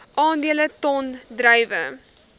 aandele ton druiwe